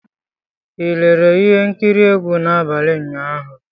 Ị lere ihe nkiri egwu n'abalị ụnyaahụ?